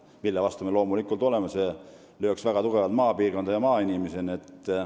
Me oleme loomulikult selle vastu, sest see lööks väga tugevalt maapiirkondi ja maainimesi.